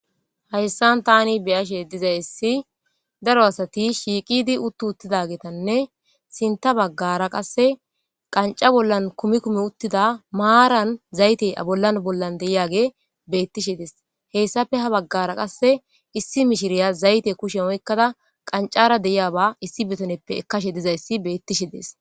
hayssan tani beyashe dizayssi daro asati shiiqidi uttu uttida geetanne sinta baggara qasse qanca bollan kumi kumi uttida maaran zayte abollan bollan deyiyage bettishe dees hessafe ha baggara qasse issi mishiriya zayte kushe oykkada qancara deyiyaba issi betoneppe ekkashe dizayssi bettishe dees